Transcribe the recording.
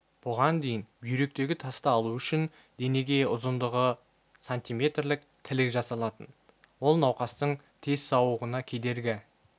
бұған дейін бүйректегі тасты алу үшін денеге ұзындығы сантиметрлік тілік жасалатын ол науқастың тез сауығуына кедергі